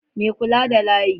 Mai kulawa da layi